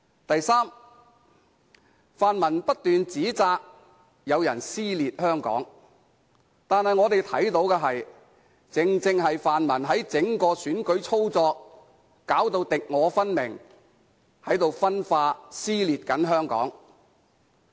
第三，泛民不斷指摘有人撕裂香港，但我們看到的正正是泛民在整體選舉操作上敵我分明，正在分化和撕裂香港。